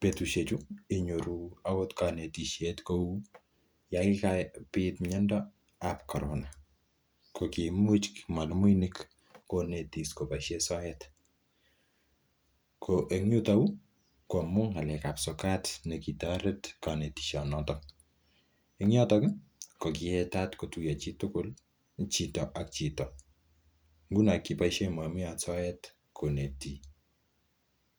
betusheju inyoru agot konetishet kou yon kigabit miondo nebo Corona kogikamuch mwalimuinik konetis koboisie soet. Ko en yuto yu ko amun ng'alekab sokat negitoret konetishonoto. En yoto kogiyetat kotuiyo chitugul, chito ak chito, nguno kiboishen mwalimuinik soet konetis.